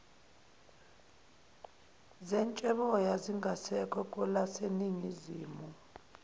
zetsheboya zingasekho kwelaseningizimu